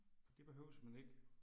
Det behøves man ikke